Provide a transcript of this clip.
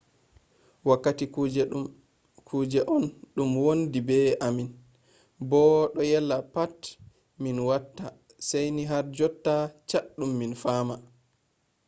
wakkati kuje on dum do wondi be ammin bo do yella pat ko min watta saini har jonta chaddum min fama